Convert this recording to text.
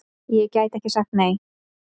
Ég gæti ekki sagt nei!